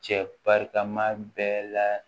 Cɛ barikama bɛɛ la